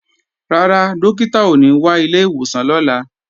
Rárá, Dókítà ò ní wá ilé ìwòsàn lọ́la